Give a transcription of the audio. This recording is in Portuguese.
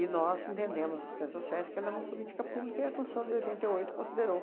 E nós entendemos assistência sociais que ela é uma política pública e a Constituição de oitenta e oito considerou.